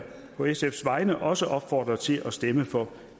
på sfs vegne også opfordre til at stemme for